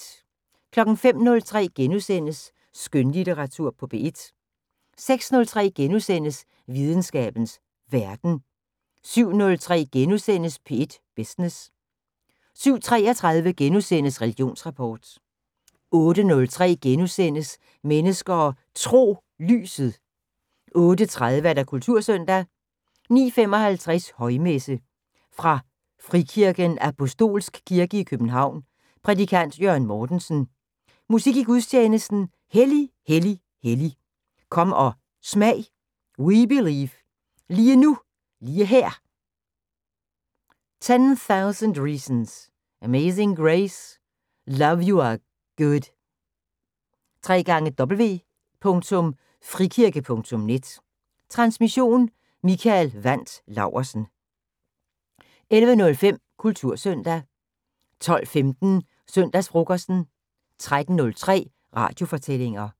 05:03: Skønlitteratur på P1 * 06:03: Videnskabens Verden * 07:03: P1 Business * 07:33: Religionsrapport * 08:03: Mennesker og Tro: Lyset * 08:30: Kultursøndag 09:55: Højmesse - Fra frikirken Apostolsk Kirke i København. Prædikant: Jørgen Mortensen. Musik i gudstjenesten: "Hellig, Hellig, Hellig". "Kom og Smag". "We Believe". "Lige Nu Lige Her". "10.000 Reasons". "Amazing Grace". "Love you are Good". www.frikirke.net Transmission: Mikael Wandt Laursen. 11:05: Kultursøndag 12:15: Søndagsfrokosten 13:03: Radiofortællinger